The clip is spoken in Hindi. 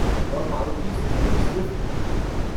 वह मारुति सुज़ुकी स्विफ़्ट है।